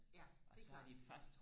ja det klart